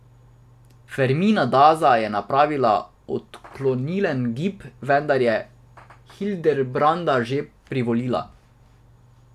Fermina Daza je napravila odklonilen gib, vendar je Hildebranda že privolila.